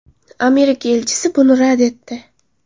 Amerika elchisi buni rad etdi.